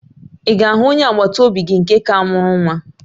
Ị ga-ahụ onye agbataobi gị nke ka mụrụ nwa?